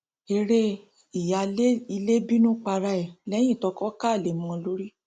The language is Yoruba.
eré ìyáálé ilé bínú para ẹ lẹyìn toko ká alẹ mọ ọn lórí